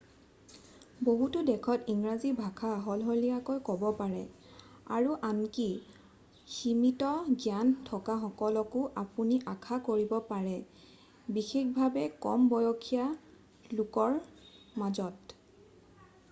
বহুতো দেশত ইংৰাজী ভাষা সলসলীয়াকৈ ক'ব পাৰে আৰু আনকি সীমিত জ্ঞান থকাসকলকো আপুনি আশা কৰিব পাৰে বিশেষভাৱে কম বসসীয়া লোকৰ মাজত